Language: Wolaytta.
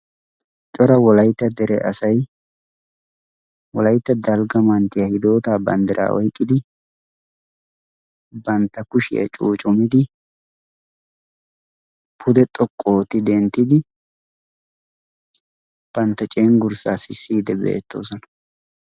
cora wolaitta dere asai wolaitta dalgga manttiyaa hidootaa banddiraa oiqqidi bantta kushiyaa cuucumidi pude xoqqu ooti denttidi bantta cenggurssaa sissiid beettoosona